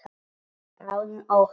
Án óttans.